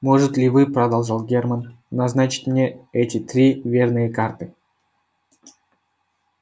может ли вы продолжал германн назначить мне эти три верные карты